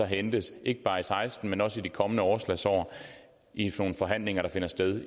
hentes ikke bare i seksten men også i de kommende overslagsår i nogle forhandlinger der finder sted